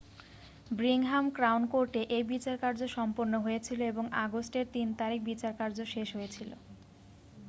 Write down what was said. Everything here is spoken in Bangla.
ব্রিংহাম ক্রাউন কোর্টে এই বিচারকার্য সম্পন্ন হয়েছিল এবং আগস্ট এর 3 তারিখ বিচারকার্য শেষ হয়েছিল